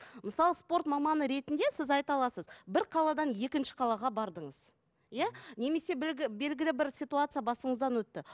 мысалы спорт маманы ретінде сіз айта аласыз бір қаладан екінші қалаға бардыңыз иә немесе белгілі бір ситуация басыңыздан өтті